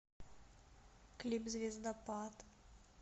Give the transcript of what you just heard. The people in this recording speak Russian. клип звездопад